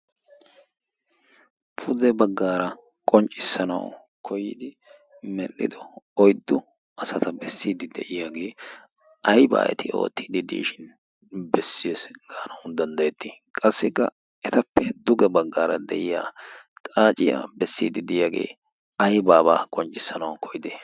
pude baggaara qonccissanau koyidi medhdhido oyddu asata bessiidi de'iyaagee aybaa eti ootiidi diishin bessio gaanawu danddayettii qassikka etappe duge baggaara de'iya xaaciyaa bessiidi de'iyaagee ayba aybaa qonccissanawu koyidi